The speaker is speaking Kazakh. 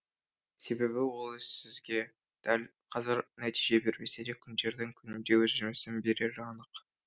себебі ол іс сізге дәл қазір нәтиже бермесе де күндердің күнінде өз жемісін берері анық